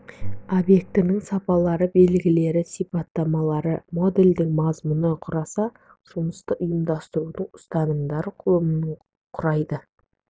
объектінің сапалары белгілері сипаттамалары модельдің мазмұнын құраса жұмысты ұйымдастырудың ұстанымдары құрылымын құрайды